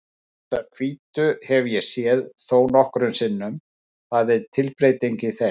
Þessar hvítu hef ég séð þónokkrum sinnum, það er tilbreyting í þeim.